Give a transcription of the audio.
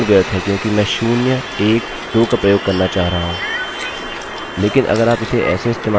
किन्तु मेरे ख्याल से यह पूर्ण व्यर्थ है क्योंकि मैं शून्य एक दो का प्रयोग करना चाह रहा हूँ